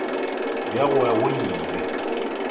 bja go ya go ile